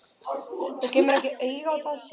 Þú kemur ekki auga á það segir hann.